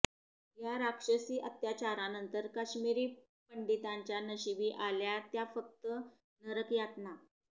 या राक्षसी अत्याचारानंतर कश्मीरी पंडितांच्या नशिबी आल्या त्या फक्त नरकयातना